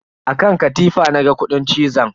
A kan katifa na ga kudin cizon.